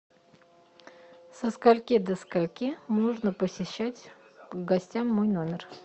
со скольки до скольки можно посещать гостям мой номер